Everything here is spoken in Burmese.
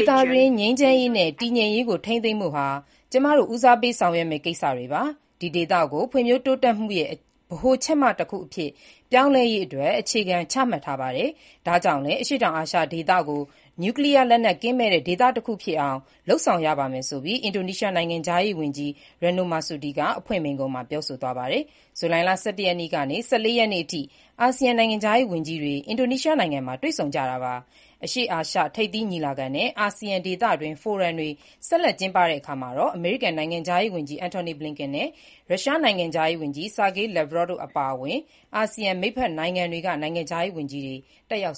ေသတွင်း ငြိမ်းချမ်းရေးနဲ့ တည်ငြိမ်ရေးကို ထိန်းသိမ်းဖို့ဟာ ကျမတို့ ဦးစားပေးဆောင်ရွက်မယ့် ကိစ္စတွေပါ။ ဒီ ဒေသကို ဖွံ့ဖြိုးတိုးတက်မှုရဲ့ ဗဟိုချက်မတခုအဖြစ် ပြောင်းလဲရေး အခြေခံတွေ ချမှတ်ထားပါတယ်။ ဒါ့ကြောင့်လည်း အရှေ့တောင်အာရှဒေသကို နျုကလီးယား လက်နက် ကင်းမဲ့တဲ့ ဒေသတခုဖြစ်အောင် လုပ်ဆောင်ရပါလိမ့်မယ်ဆိုပြီး” အင်ဒိုနီးရှား နိုင်ငံခြားရေး ဝန်ကြီး Retno Marsudi က အဖွင့်မိန့်ခွန်းမှာ ပြောဆိုသွားပါတယ်။ ဇူလိုင်လ ၁၁ ရက်နေ့ကနေ ၁၄ ရက်နေ့အထိ အာဆီယံနိုင်ငံခြားရေး ဝန်ကြီးတွေ အင်ဒိုနီးရှားနိုင်ငံမှာ တွေ့ဆုံကြတာပါ။ အရှေ့အာရှ ထိပ်သီးညီလာခံနဲ့ အာဆီယံ ဒေသတွင်း ဖိုရမ်တွေ ဆက်လက် ကျင်းပတဲ့အခါ အမေရိကန်နိုင်ငံခြားရေးဝန်ကြီး Antony Blinken နဲ့ ရုရှားနိုင်ငံခြားရေးဝန်ကြီး Sergei Lavrov တို့အပါအဝင် အာဆီယံ မိတ်ဖက်နိုင်ငံတွေက နိုင်ငံခြားရေးဝန်ကြီးတွေ တက်ရောက်